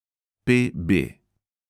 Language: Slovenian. P B.